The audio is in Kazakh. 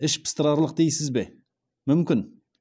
іш пыстырарлық дейсіз бе мүмкін